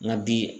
Nka bi